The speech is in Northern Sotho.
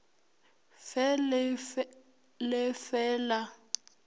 fe le le fe la